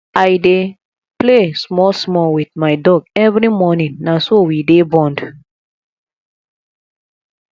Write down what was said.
i dey play smallsmall wit my dog every morning na so we dey bond